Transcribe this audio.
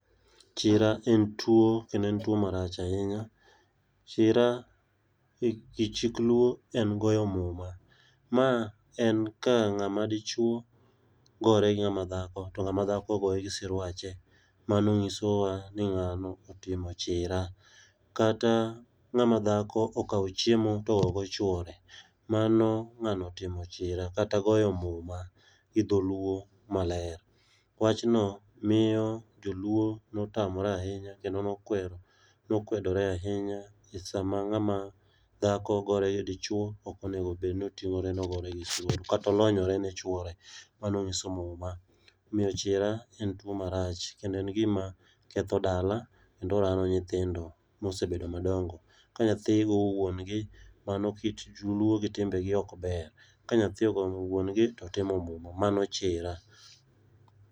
chira en tuo kendo en tuo marach ahinya ,chira e chik luo en goyo muma, mae en kang'ama dichuo gore gi ng'ama dhako to ng'ama goye gi siruache ,mano ng'iso wa ni ng'ano otimo chira, kata ng'ama dhako okawo chiemo to ogoyo godo chuore, mano ng'ano otimo chira kata goyo muma gi dholuo maler ,wachno miyo joluo notamre ahinya kendo nokwedore ahinya e sama ng'ama dhako gore gi dichuo ok onego bedni otingore ni ogore gi chuore kata olonyore ni chuore ,mano nyiso muma ,omiyo chira en tuo marach kendo ketho dala kendo rano nyithindo mosebedo madongo, ka nyatho go wuon gi mano kit luo gi timbe gi ok ber, ka nyathi ogo wuon gi otimo muma, mano chira